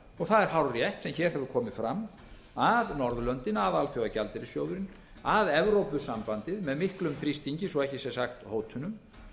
það er hárrétt sem hér hefur komið fram að norðurlöndin að alþjóðagjaldeyrissjóðurinn að evrópusambandið með miklum þrýstingi svo ekki sé sagt hótunum